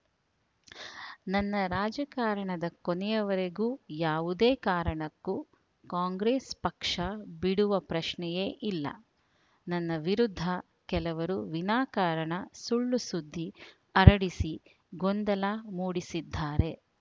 ನನ್ನ ರಾಜಕಾರಣದ ಕೊನೆಯವರೆಗೂ ಯಾವುದೇ ಕಾರಣಕ್ಕೂ ಕಾಂಗ್ರೆಸ್‌ ಪಕ್ಷ ಬಿಡುವ ಪ್ರಶ್ನೆಯೇ ಇಲ್ಲ ನನ್ನ ವಿರುದ್ಧ ಕೆಲವರು ವಿನಾಕಾರಣ ಸುಳ್ಳು ಸುದ್ದಿ ಹರಡಿಸಿ ಗೊಂದಲ ಮೂಡಿಸಿದ್ದಾರೆ